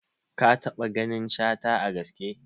Ka taɓa ganin Shata a gaske?